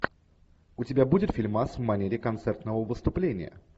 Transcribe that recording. у тебя будет фильмас в манере концертного выступления